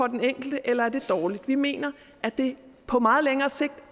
den enkelte eller er det dårligt vi mener at det på meget længere sigt